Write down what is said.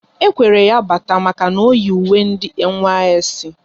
E kwere ya bata maka na oyi uwe ndị NYSC